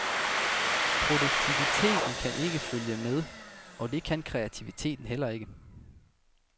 Produktiviteten kan ikke følge med, og det kan kreativiteten heller ikke.